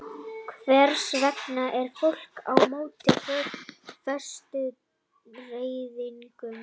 Hvers vegna er fólk á móti fóstureyðingum?